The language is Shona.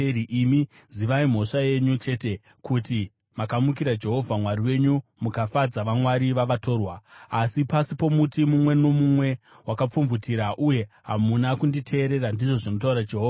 Imi zivai mhosva yenyu chete, kuti makamukira Jehovha Mwari wenyu, mukafadza vamwari vavatorwa muri pasi pomuti mumwe nomumwe wakapfumvutira, uye hamuna kunditeerera,’ ” ndizvo zvinotaura Jehovha.